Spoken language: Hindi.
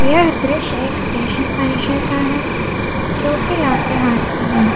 यह दृश्य एक स्टेशन परिसर का है जो कि लातेहार है।